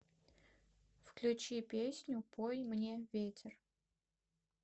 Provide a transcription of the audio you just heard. включи песню пой мне ветер